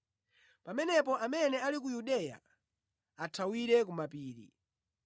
Pamenepo amene ali ku Yudeya athawire ku mapiri.